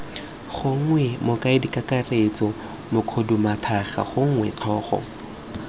gongwe mokaedikakaretso mokhuduthamaga gongwe tlhogo